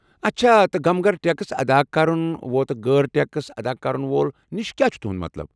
اچھا، تہٕ غمگر ٹیكس ادا كرن وو تہٕ غٲر ٹیكس ادا كرن وول نِش كیاہ چُھ تہُند مطلب ۔؟